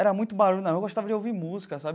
Era muito barulho na rua, gostava de ouvir música sabe.